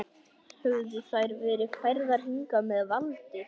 Höfðu þær verið færðar hingað með valdi?